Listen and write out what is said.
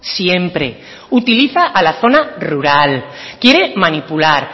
siempre utiliza a la zona rural quiere manipular